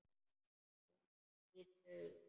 Þú nýrð augun.